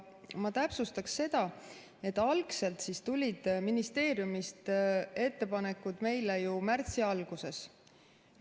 Ma täpsustaksin seda, et algselt tulid ministeeriumist ettepanekud meile ju märtsi alguses.